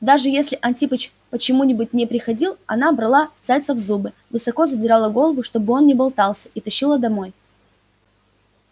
даже если антипыч почему-нибудь не приходил она брала зайца в зубы высоко задирала голову чтобы он не болтался и тащила домой